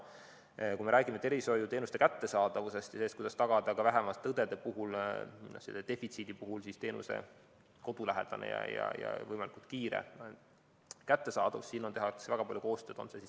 Kui me räägime tervishoiuteenuste kättesaadavusest ja sellest, kuidas tagada vähemalt õdede defitsiidi puhul teenuse kodulähedus ja võimalikult kiire kättesaadavus, siis siin tehakse väga palju koostööd.